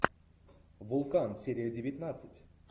вулкан серия девятнадцать